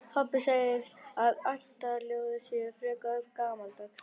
Pabbi segir að ættjarðarljóðin séu frekar gamaldags.